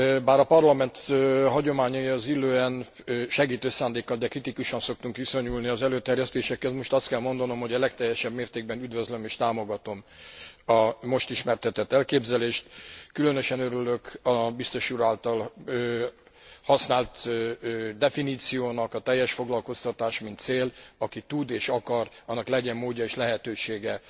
Bár a Parlament hagyományaihoz illően segítő szándékkal, de kritikusan szoktunk viszonyulni az előterjesztésekhez, most azt kell mondanom, hogy a legteljesebb mértékben üdvözlöm és támogatom a most ismertetett elképzelést. Különösen örülök a biztos úr által használt definíciónak a teljes foglalkoztatás, mint cél, aki tud és akar, annak legyen módja és lehetősége